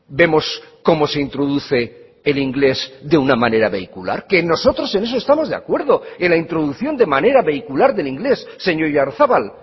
vemos cómo se introduce el inglés de una manera vehicular que nosotros en eso estamos de acuerdo en la introducción de manera vehicular del inglés señor oyarzabal